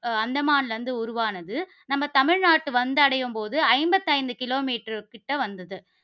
ஆஹ் அந்தமான்ல இருந்து உருவானது. நம்ம தமிழ்நாடு வந்தடையும் போது, ஐம்பத்தி ஐந்து kilometer கிட்ட வந்தது.